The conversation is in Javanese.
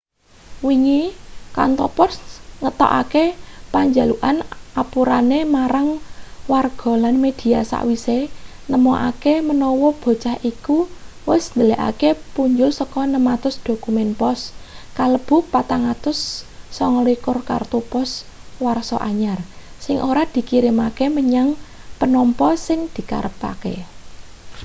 wingi kantor pos ngetokake panjalukan apurane marang warga lan media sawise nemokake menawa bocah iku wis ndhelikake punjul saka 600 dokumen pos kalebu 429 kartu pos warsa anyar sing ora dikirimake menyang penampa sing dikarepake